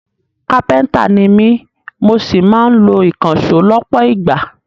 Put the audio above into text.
Kápẹ́ntà ni mí mo sì máa ń lo ìkànṣó lọ́pọ̀ ìgbà